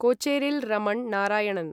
Kocheril Raman Narayanan